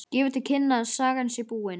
Gefur til kynna að sagan sé búin.